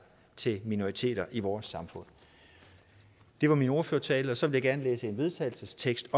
til minoriteter i vores samfund det var min ordførertale og så vil jeg gerne læse en vedtagelsestekst